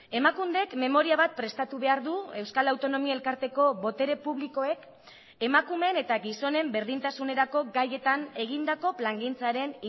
emakundek memoria bat prestatu behar du euskal autonomia elkarteko botere publikoek emakumeen eta gizonen berdintasunerako gaietan egindako plangintzaren